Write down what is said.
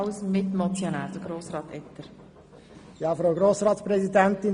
Als Mitmotionär spricht Jakob Etter.